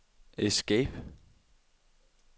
escape